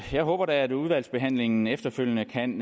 jeg håber da at udvalgsbehandlingen efterfølgende kan